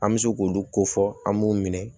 An bɛ se k'olu ko fɔ an b'u minɛ